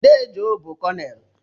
Dee Joe bụ Kọnel.